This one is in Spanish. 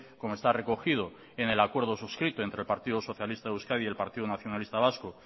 como está recogido en el acuerdo suscrito entre el partido socialista de euskadi y el partido nacionalista vasco